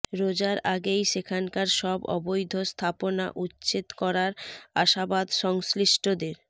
রোজার আগেই সেখানকার সব অবৈধ স্থাপনা উচ্ছেদ করার আশাবাদ সংশ্লিষ্টদের